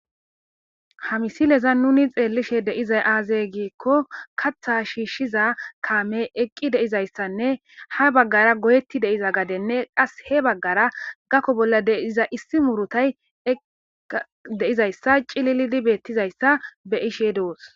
Ha misile nuni xellishe diza aze giko kaththa shishiza kamey eqide'izaysanne ha bagara goyetida gadey qasi he bagara gako bolla diza issi muruta de'iza c'ililidi betizaysa beyishe dos.